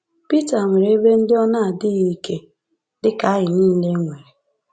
Pita nwere ebe ndị ọ na-adịghị ike, dị ka anyị nile nwere.